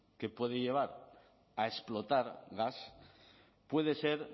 que puede llevar a explotar gas puede ser